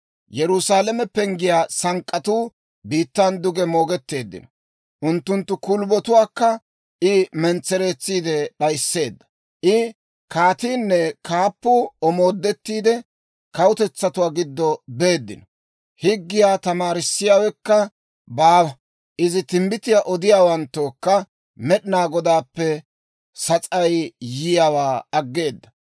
Yerusaalame penggiyaa sank'k'atuu biittan duge moogetteeddino; unttunttu kulbbotuwaakka I mentsereetsiide d'ayisseedda. I kaatiinne kaappatuu omoodettiide, kawutetsatuwaa giddo beeddino. Higgiyaa tamaarissiyaawekka baawa; Izi timbbitiyaa odiyaawanttookka Med'inaa Godaappe sas'ay yiyaawaa aggeeda.